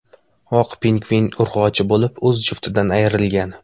Oq pingvin urg‘ochi bo‘lib, o‘z juftidan ayrilgan.